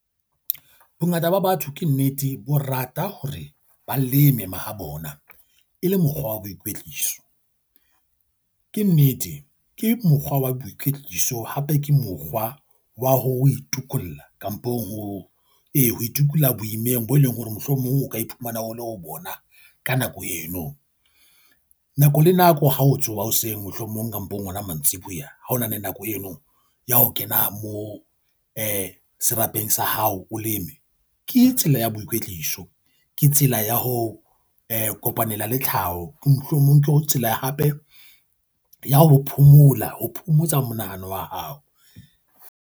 Bongata ba batho ke nnete bo rata hore ba leme mahabona e le mokgwa wa boikwetliso. Ke nnete, ke mokgwa wa boikwetliso, hape ke mokgwa wa ho itokolla kampong ho ee ho itukisa boimeng bo e leng hore mohlomong o ka iphumana o le ho bona ka nako eno. Nako le nako ha o tsoha hoseng, mohlomong kapong hona mantsiboya ha ho na le nako eno ya ho kena moo serapeng sa hao o leme ke tsela ya boikwetliso. Ke tsela ya ho kopanela le tlhaho. Ke mohlomong ke tsela hape ya ho phomola, ho phomotsa monahano wa hao.